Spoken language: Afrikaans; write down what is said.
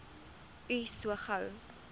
u so gou